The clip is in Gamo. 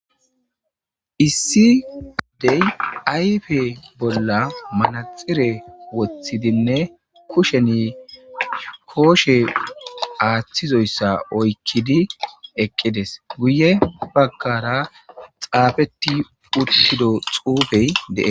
issidey ayfe bolla manaxire woththidinne kusheni kooshe aaththizoyssa oykkidi eqqides guye bagkara xaafeti uttido xuufey dee